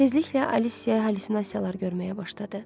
Tezliklə Alisya hallüsinasiyalar görməyə başladı.